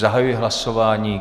Zahajuji hlasování.